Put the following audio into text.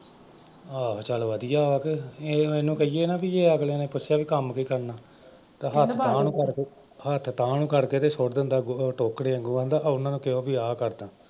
ਆਹੋ ਚੱਲ ਵਧੀਆ ਵਾ ਕਿ ਇਹਨੂੰ ਕਹੀਏ ਨਾ ਬਈ ਜੇ ਅਗਲਿਆਂ ਨੇ ਪੁੱਛਿਆ ਬਈ ਕੰਮ ਕੀ ਕਰਨਾ ਤਾਂ ਹੱਥ ਤਾਂਹ ਨੂੰ ਕਰਕੇ ਹੱਥ ਤਾਂਹ ਨੂੰ ਕਰਕੇ ਤੇ ਸੁੱਟ ਦਿੰਦਾ ਗੋਹੇ ਦੇ ਟੋਕਰੇ ਵਾਂਗੂੰ ਆਂਹਦਾ ਉਹਨਾਂ ਨੂੰ ਕਹਿਓ ਬਈ ਆ ਕਰਦਾਂ।